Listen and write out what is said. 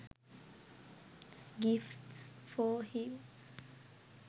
gifts for him